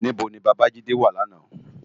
Nibó ni Babajide wá làná?